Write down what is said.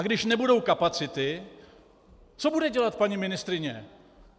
A když nebudou kapacity, co bude dělat paní ministryně?